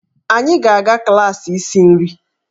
Anyị ga-aga klaasị isi nri.